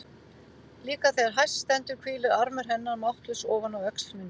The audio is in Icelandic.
Líka þegar hæst stendur hvílir armur hennar máttlaus ofan á öxl minni.